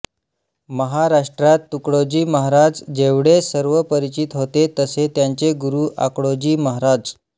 महाराष्ट्रात तुकडोजी महाराज जेवढे सर्वपरिचित होते तसे त्यांचे गुरु आडकोजी महाराज